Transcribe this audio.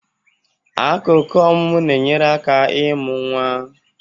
Akụkụ ọmụmụ na-enyere aka ịmụ nwa.